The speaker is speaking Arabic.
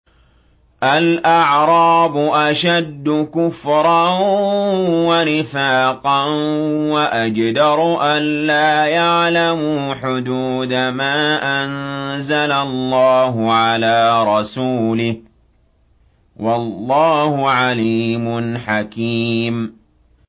الْأَعْرَابُ أَشَدُّ كُفْرًا وَنِفَاقًا وَأَجْدَرُ أَلَّا يَعْلَمُوا حُدُودَ مَا أَنزَلَ اللَّهُ عَلَىٰ رَسُولِهِ ۗ وَاللَّهُ عَلِيمٌ حَكِيمٌ